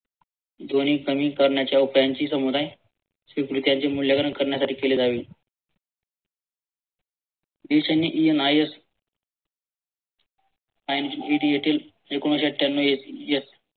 ध्वनी कमी करण्याच्या उपायांची समुदाय स्वीकृतीयांची मूल्यांकरण करण्यातारिक केली जावी. देशांनी ENIS ANDED येथील एकोणीशे आठ्यांनव